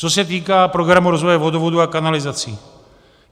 Co se týká programu rozvoje vodovodů a kanalizací.